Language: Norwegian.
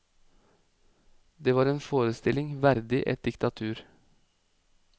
Det var en forestilling verdig et diktatur.